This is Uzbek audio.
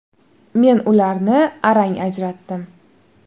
Men ularni arang ajratdim.